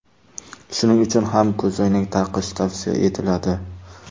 Shuning uchun ham ko‘zoynak taqish tavsiya etiladi.